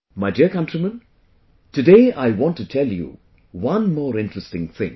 My dear countrymen, today I want to tell you one more interesting thing